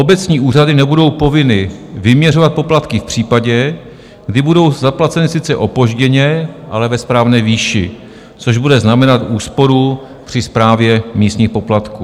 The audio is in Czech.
Obecní úřady nebudou povinny vyměřovat poplatky v případě, kdy budou zaplaceny sice opožděně, ale ve správné výši, což bude znamenat úsporu při správě místních poplatků.